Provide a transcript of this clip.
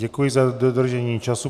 Děkuji za dodržení času.